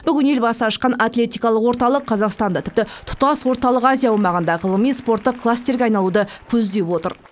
бүгін елбасы ашқан атлетикалық орталық қазақстанда тіпті тұтас орталық азия аумағында ғылыми спорттық кластерге айналуды көздеп отыр